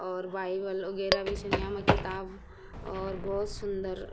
और वाइबल वगैरा भी छन यामा किताब और भोत सुन्दर।